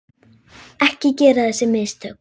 Ekki gera þessi mistök.